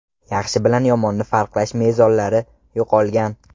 Yaxshi bilan yomonni farqlash mezonlari yo‘qolgan.